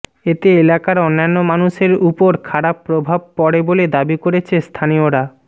এতে এলাকার অন্যান্য মানুষের উপর খারাপ প্রভাব পড়ে বলে দাবি করেছে স্থানীয়রা